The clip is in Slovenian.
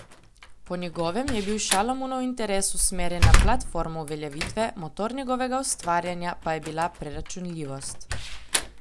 Po njegovem je bil Šalamunov interes usmerjen na platformo uveljavitve, motor njegovega ustvarjanja pa je bila preračunljivost.